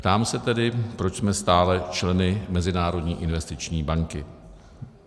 Ptám se tedy, proč jsme stále členy Mezinárodní investiční banky.